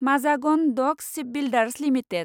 Mazagon dock shipbuilders limited